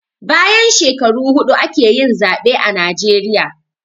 Bayan shekaru huɗu ake yin zaɓe a najeriya